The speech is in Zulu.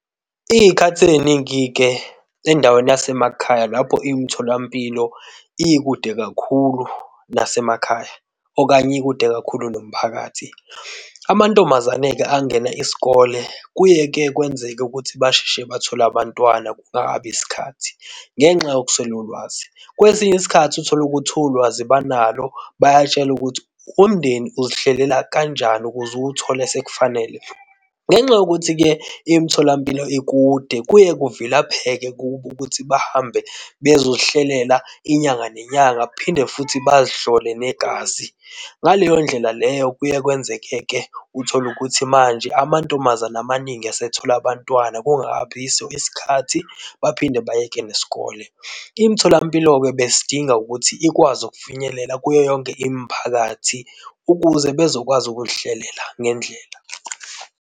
Izikhathi eziningi-ke endaweni yasemakhaya lapho imitholampilo ikude kakhulu nasemakhaya okanye ikude kakhulu nomphakathi. Amantombazane-ke angena isikole kuye-ke kwenzeke ukuthi basheshe bathole abantwana kungakabi isikhathi, ngenxa yokuswela ulwazi. Kwesinye isikhathi utholukuthi ulwazi banalo bayatshelwa ukuthi umndeni uzihlelela kanjani ukuze uwuthole sekufanele. Ngenxa yokuthi-ke imitholampilo ikude kuye kuvilapheke kubo ukuthi bahambe bezozihlelela inyanga nenyanga. Kuphinde futhi bazihlole negazi, ngaleyo ndlela leyo kuye kwenzeke-ke utholukuthi manje amantombazane amaningi esethola abantwana, kungabi yiso isikhathi baphinde bayeke nesikole. Imitholampilo-ke besidinga ukuthi ikwazi ukufinyelela kuyo yonke imiphakathi ukuze bezokwazi ukuzihlelela ngendlela.